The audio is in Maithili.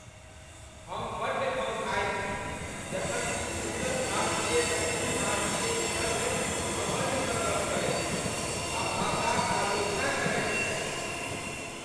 हम बड्ड खौँझाइत छी जखन किछु उत्तर भारतीय दक्षिण भारतीयक सङ्ग घमंड स गप्प करैत छथि आ भाषाक आलोचना करैत छथि।